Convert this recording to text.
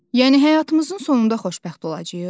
Yəni həyatımızın sonunda xoşbəxt olacağıq?